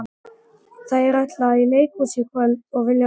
Þær ætla í leikhús í kvöld og vilja vera fínar.